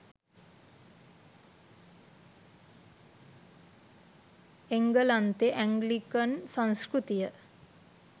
එංගලන්තෙ ඇන්ග්ලිකන් සංස්කෘතිය